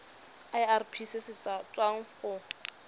irp se se tswang go